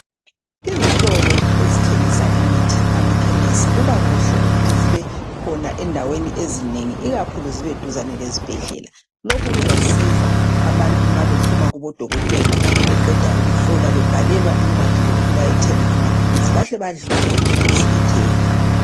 Izitolo ezithengisa imithi amakhemesi, kuba kuhle ukuthi zibe khona endaweni ezinengi. Ikakhulu zibe duzane lezibhedlela. Lokhu kuzasiza abantu nxa bephuma Kubo dokotela beqeda ukuhlolwa bebhalelwa incwadi zokuthi bayethenga amaphilisi. Bahlezi badlule ekhemesi bethenga.